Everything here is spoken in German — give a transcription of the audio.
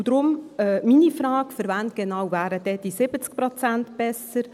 Und daher meine Frage: Für wen genau wären denn diese 70 Prozent besser?